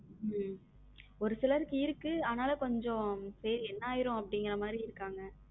உம் ஒரு சிலருக்கு இருக்கு ஆனாலும் கொஞ்சம் சரி என்ன ஆயிரும் அப்படிங்கற மாதிரி இருக்காங்க.